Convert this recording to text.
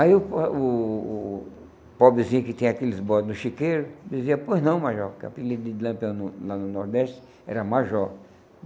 Aí o o o o pobrezinho que tinha aqueles bode no chiqueiro dizia, pois não, Major, que o apelido de Lampião no lá no Nordeste era Major.